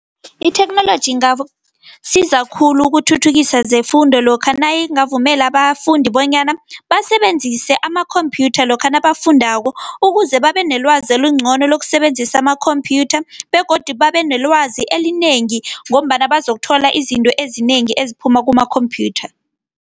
Itheknoloji ingasiza khulu ukuthuthukisa zefundo lokha nayingavumele abafundi bonyana basebenzise amakhompyutha lokha nabafundako, ukuze babenelwazi elingcono lokusebenzisa amakhomphyutha begodu babenelwazi elinengi ngombana bazokuthola izinto ezinengi eziphuma kuma-computer.